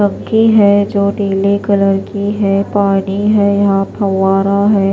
मक्की हैजो पीला कलर की है पानी हैयहा फव्वारा है।